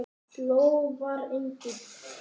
Lofar engu.